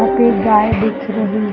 यहाँ पे गाय दिख रही है।